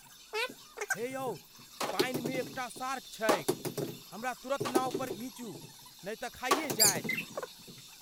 हे यौ पानिमे एकटा शार्क छैक, हमरा तुरन्त नाव पर घीचू, नै तऽ खाइए जाएत।